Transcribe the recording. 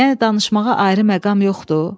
Yəni danışmağa ayrı məqam yoxdu?